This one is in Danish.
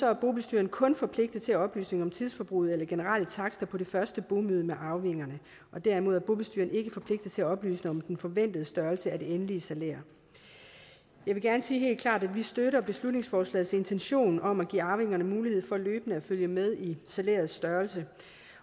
er bobestyreren kun forpligtet til at oplyse om tidsforbruget eller generelle takster på det første bomøde med arvingerne og derimod er bobestyreren ikke forpligtet til at oplyse om den forventede størrelse af det endelige salær jeg vil gerne sige helt klart at vi støtter beslutningsforslagets intention om at give arvingerne mulighed for løbende at følge med i salærets størrelse